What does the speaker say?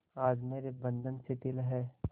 आज मेरे बंधन शिथिल हैं